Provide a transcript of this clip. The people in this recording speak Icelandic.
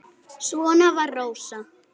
Svona var Rósa.